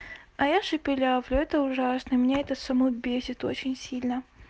а я шепелявлю это ужасно меня это саму бесит очень сильно